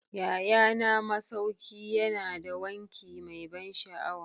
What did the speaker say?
Yayana masauki yana da wanki mai ban sha'awa